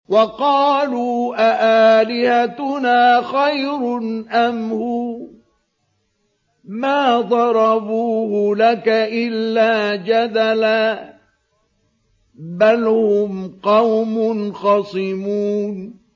وَقَالُوا أَآلِهَتُنَا خَيْرٌ أَمْ هُوَ ۚ مَا ضَرَبُوهُ لَكَ إِلَّا جَدَلًا ۚ بَلْ هُمْ قَوْمٌ خَصِمُونَ